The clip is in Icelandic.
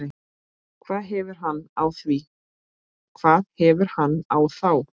hvað hefur hann á þá?